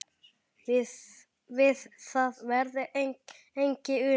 Við það verði ekki unað.